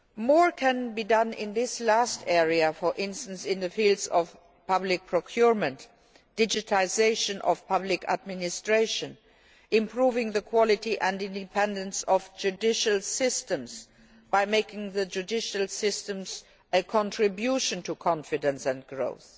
More can be done in this last area, for instance, in the fields of public procurement, digitisation of public administration, and improving the quality and independence of judicial systems by making the judicial systems a contribution to confidence and growth.